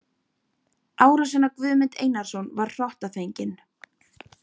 Árásin á Guðmund Einarsson var hrottafengin.